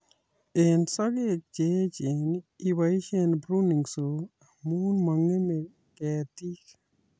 Eng sokek che echeen iboisie pruning saw amu mong'emei ketit